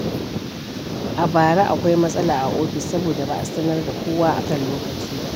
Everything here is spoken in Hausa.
A bara, akwai matsala a ofis saboda ba a sanar da kowa a kan lokaci ba.